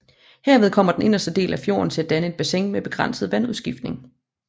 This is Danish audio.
Herved kommer den inderste del af fjorden til at danne et bassin med begrænset vandudskiftning